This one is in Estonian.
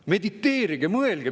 Mediteerige, mõelge!